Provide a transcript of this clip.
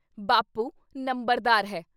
ਬਾਪੂ ਨੰਬਰਦਾਰ ਹੈ।